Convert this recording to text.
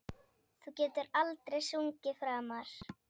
Þú getur aldrei sungið framar